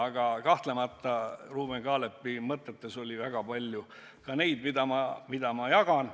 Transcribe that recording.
Aga kahtlemata Ruuben Kaalepi mõtetes oli väga palju ka sellist, mida ma jagan.